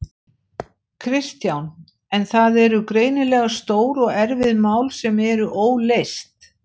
Kristján: En það eru greinilega stór og erfið mál sem eru óleyst?